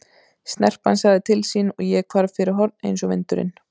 Snerpan sagði til sín og ég hvarf fyrir horn eins og vindurinn.